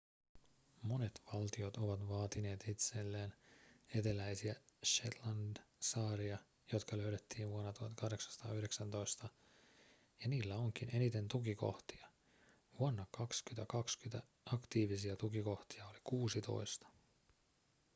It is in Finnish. monet valtiot ovat vaatineet itselleen eteläisiä shetlandsaaria jotka löydettiin vuonna 1819 ja niillä onkin eniten tukikohtia vuonna 2020 aktiivisia tukikohtia oli kuusitoista